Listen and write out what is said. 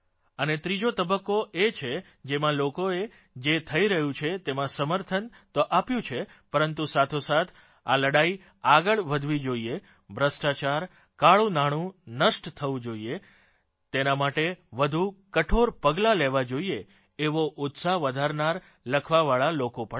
અને ત્રીજો તબક્કો એ છે જેમાં લોકોએ જે થઇ રહ્યું છે તેમાં સમર્થન તો આપ્યું છે પરંતુ સાથોસાથ આ લડાઇ આગળ વધવી જોઇએ ભ્રષ્ટાચાર કાળુંનાણું નષ્ટ થવું જોઇએ તેના માટે વધુ કઠોર પગલાં લેવાં જોઇએ આવો ઉત્સાહ વધારનાર લખવાવાળા લોકો પણ છે